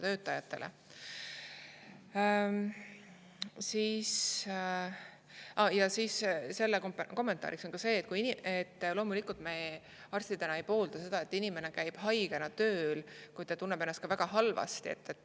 Kommentaarina, et loomulikult me arstidena ei poolda seda, et inimene käib haigena tööl, kui ta tunneb ennast väga halvasti.